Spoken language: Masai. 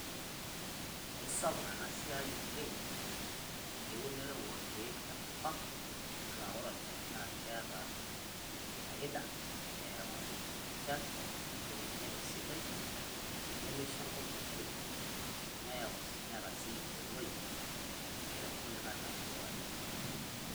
Aisapuk ene siai oleng, eunore e lkeek te nkopang , ena ore olchaani na keeta faida eyau echaan ,eyeree nkijape sidai, nimeshoo nkop mee ntoyuu neyeu, neeta sii oloip. Nishoru nkule likai olng'anayo.